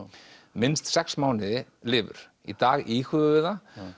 minnst sex mánuði lifur í dag íhugum við það